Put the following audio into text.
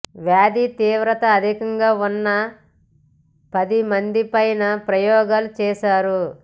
వ్యాధి తీవ్రత అధికంగా ఉన్న పది మందిపైనా ప్రయోగాలు చేశారు